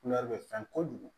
bɛ fɛn kojugu